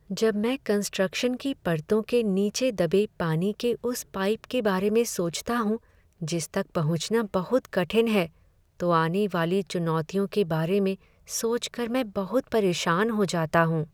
जब मैं कंस्ट्रक्शन की परतों के नीचे दबे पानी के उस पाइप के बारे में सोचता हूँ, जिस तक पहुँचना बहुत कठिन है, तो आने वाली चुनौतियों के बारे में सोच कर मैं बहुत परेशान हो जाता हूँ।